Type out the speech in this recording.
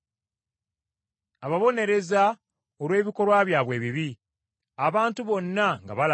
Ababonereza olw’ebikolwa byabwe ebibi abantu bonna nga balaba,